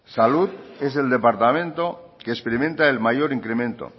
salud es el departamento que experimenta el mayor incremento